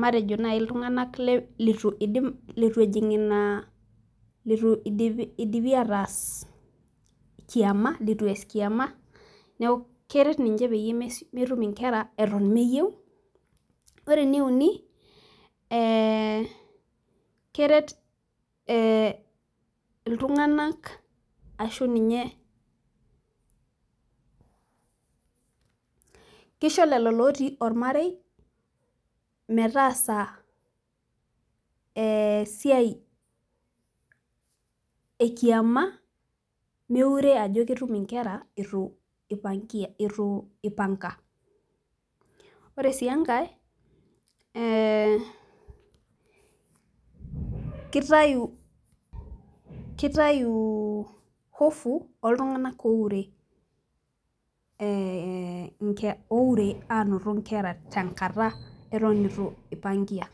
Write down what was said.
matejo, naai iltunganak leitu idim, leitu ejing' ina, leitu idipi ataas kiama. leitu ees kiama. neeku keret ninche peyie metum nkera eton meyieu. ore eneuni, ee keret ee iltunganak ashu ninye kisho lelo oota olamarei metaasa, ee siai ekiama, meure ajo ketum nkera eitu ipanga. ore sii enake, ee kitayu hofu ooltungank ooure aanoto nkera eton eitu ipangia.